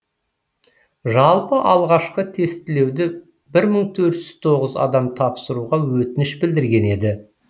жалпы алғашқы тестілеуді бір мың төрт жүз тоғыз адам тапсыруға өтініш білдірген еді